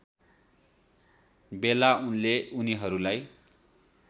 बेला उनले उनीहरूलाई